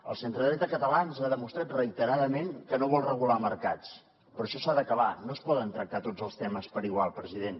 el centre dreta català ens ha demostrat reiteradament que no vol regular mercats però això s’ha d’acabar no es poden tractar tots els temes per igual president